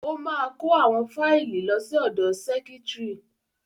Ó máa kó àwọn fáìlì lọ sí ọ̀dọ sẹ́kítrì.